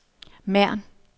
Mern